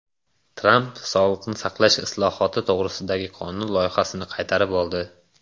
Tramp sog‘liqni saqlash islohoti to‘g‘risidagi qonun loyihasini qaytarib oldi.